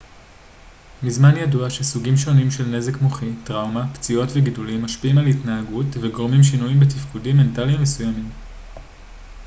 מזמן ידוע שסוגים שונים של נזק מוחי טראומה פציעות וגידולים משפיעים על התנהגות וגורמים שינויים בתפקודים מנטליים מסוימים